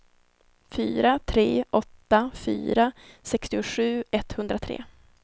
fyra tre åtta fyra sextiosju etthundratre